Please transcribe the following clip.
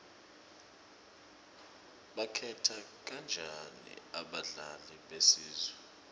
bakhetha kanjani abadlali besizwe